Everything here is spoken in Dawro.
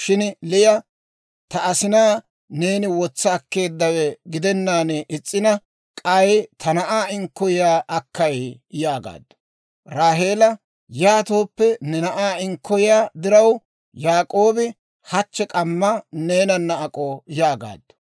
Shin Liya, «Ta asina neeni wotsa akkeeddawe gidennaan is's'ina, k'ay ta na'aa inkkoyiyaa akkay?» yaagaaddu. Raaheela, «Yaatooppe, ne na'aa inkkoyiyaa diraw Yaak'oobi hachche k'ammaa neenanna ak'o» yaagaaddu.